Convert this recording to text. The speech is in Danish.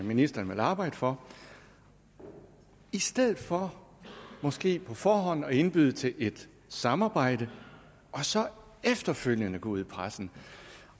ministeren vil arbejde for i stedet for måske på forhånd at indbyde til et samarbejde og så efterfølgende gå ud i pressen